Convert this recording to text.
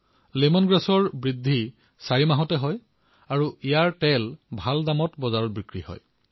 lemon grass চাৰিমাহত উৎপাদিত হয় আৰু ইয়াৰ তেল বজাৰত ভাল দামত বিক্ৰী হয়